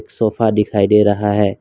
Sofa दिखाई दे रहा है।